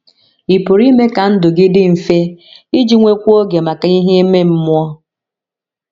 Ị̀ pụrụ ime ka ndụ gị dị mfe iji nwekwuo oge maka ihe ime mmụọ?